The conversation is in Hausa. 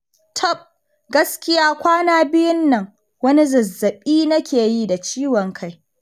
Tab! gaskiya kwana biyun nan wani zazzaɓi nake yi da ciwon kai